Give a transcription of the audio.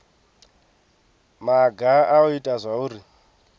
maga a u ita zwauri